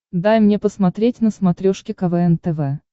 дай мне посмотреть на смотрешке квн тв